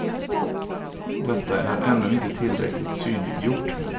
Detta är ännu inte tillräckligt synliggjort.